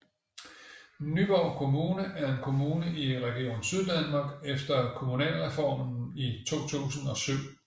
Nyborg Kommune er en kommune i Region Syddanmark efter Kommunalreformen i 2007